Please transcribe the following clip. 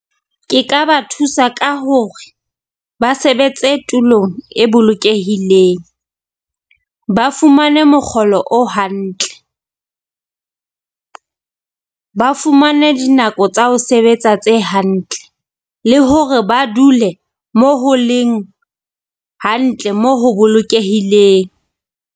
Ke ka ba thusa ka hore ba sebetse tulong e bolokehileng, ba fumane mokgolo o hantle. Ba fumane dinako tsa ho sebetsa tse hantle le hore ba dule mo ho leng hantle mo ho bolokehileng.